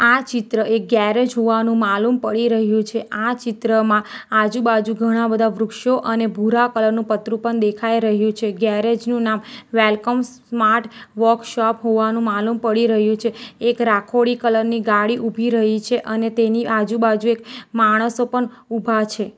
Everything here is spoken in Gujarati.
આ ચિત્ર એક ગેરેજ હોવાનું માલુમ પડી રહ્યું છે આ ચિત્રમાં આજુબાજુ ઘણા બધા વૃક્ષો અને ભૂરા કલર નું પતરું પન દેખાઈ રહ્યું છે ગેરેજ નું નામ વેલકમ સ્માર્ટ વર્કશોપ હોવાનું માલુમ પડી રહ્યું છે એક રાખોડી કલર ની ગાડી ઉભી રહી છે અને તેની આજુબાજુએ માણસો પન ઉભા છે.